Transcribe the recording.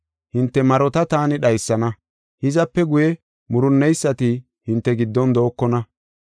Hinte marota taani dhaysana; hizape guye murunneysati hinte giddon dookona.